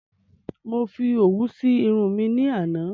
Mo fi òwú si Irun mi ní àná